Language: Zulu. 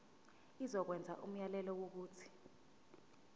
izokwenza umyalelo wokuthi